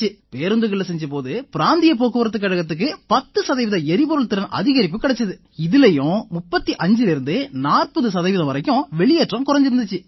பேருந்துகள்ல செஞ்ச போது பிராந்திய போக்குவரத்துக் கழகத்துக்கு 10 சதவீத எரிபொருள் திறன் அதிகரிப்பு கிடைச்சுது இதிலயும் 35லேர்ந்து 40 சதவீதம் வரை வெளியேற்றம் குறைஞ்சிருந்திச்சு